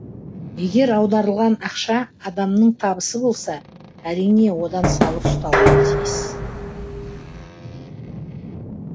егер аударылған ақша адамның табысы болса әрине одан салық ұсталуы тиіс